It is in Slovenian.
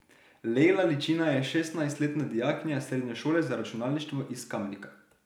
Lejla Ličina je šestnajstletna dijakinja srednje šole za računalništvo iz Kamnika.